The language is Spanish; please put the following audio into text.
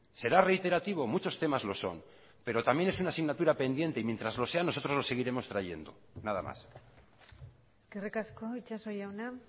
será reiterativo muchos temas lo son pero también es una asignatura pendiente y mientras lo sea nosotros lo seguiremos trayendo nada más eskerrik asko itxaso jauna